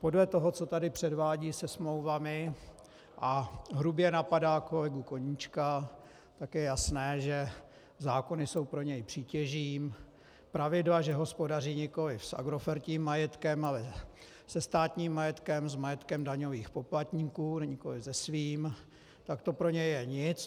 Podle toho, co tady předvádí se smlouvami a hrubě napadá kolegu Koníčka, tak je jasné, že zákony jsou pro něj přítěží, pravidla, že hospodaří nikoliv s agrofertím majetkem, ale se státním majetkem, s majetkem daňových poplatníků, nikoli se svým, tak to pro něj je nic.